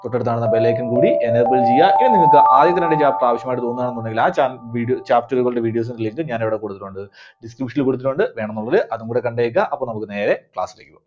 തൊട്ടടുത്ത് കാണുന്ന ആ bell icon കൂടി enable ചെയ്യുക. ഇനി നിങ്ങൾക്ക് ആദ്യത്തെ രണ്ട് chapter ആവശ്യമായിട്ടു തോന്നുവാന്നുണ്ടെങ്കിൽ ആ ചാപ് video chapter കളുടെ videos ന്റെ link ഞാൻ ഇവിടെ കൊടുത്തിട്ടുണ്ട്. Description ൽ കൊടുത്തിട്ടുണ്ട്. വേണമെന്നുള്ളവര് അത് കൂടി കണ്ടേക്കുക. അപ്പോ നമുക്ക് നേരെ class ലേക്ക് പോകാം.